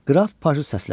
Qraf Paji səslədi.